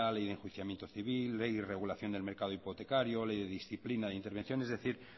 ley de enjuiciamiento civil ley de regulación del mercado hipotecario ley de disciplina de intervención es decir